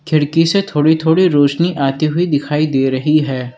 खिड़की से थोड़ी थोड़ी रोशनी आती हुई दिखाई दे रही है।